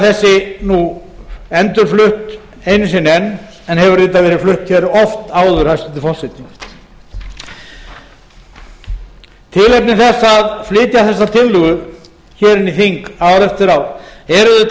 þessi endurflutt einu sinni enn en hefur auðvitað verið flutt hér oft áður hæstvirtur forseti tilefni þess að flytja þessa tillögu hér inn í þing ár eftir ár er auðvitað